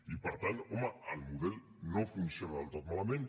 i per tant home el model no funciona del tot malament